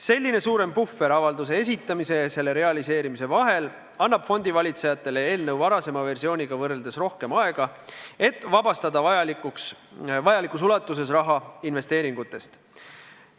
Selline suurem puhver avalduse esitamise ja selle realiseerimise vahel annab fondivalitsejatele eelnõu varasema versiooniga võrreldes rohkem aega, et vabastada vajalikus ulatuses raha investeeringutest.